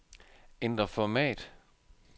Ændr format.